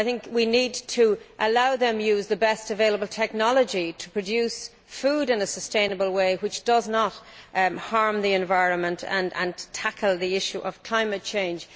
We need to allow them to use the best available technology to produce, in a sustainable way, food which does not harm the environment, and to tackle the issue of climate change.